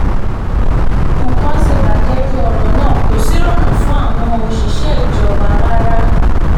nǹkan ti bàjẹ́ ju ọ̀rọ̀ náà kò sì rọrùn fún àwọn òṣìṣẹ́ ìjọba rárá